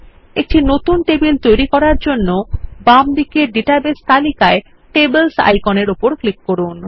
একটি নতুন টেবিল তৈরির জন্যে বাম দিকের ডাটাবেস তালিকায় টেবলস আইকনের উপর ক্লিক করুন